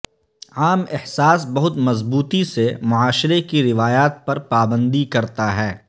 عام احساس بہت مضبوطی سے معاشرے کی روایات پر پابندی کرتا ہے